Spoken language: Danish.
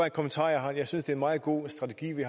en kommentar jeg har jeg synes det er en meget god strategi vi